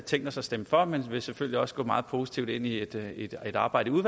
tænkt os at stemme for men vi vil selvfølgelig også gå meget positivt ind i et arbejde i